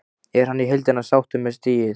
Er hann í heildina sáttur með stigið?